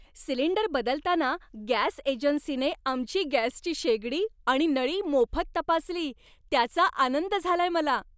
Cylinder बदलताना gas एजन्सीने आमची गॅसची शेगडी आणि नळी मोफत तपासली, त्याचा आनंद झालाय मला.